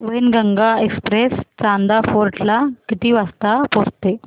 Wainganga Express Chanda Fort ला किती वाजता पोहचते